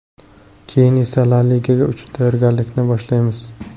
Keyin esa La liga uchun tayyorgarlikni boshlaymiz.